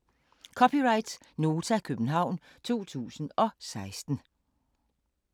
(c) Nota, København 2016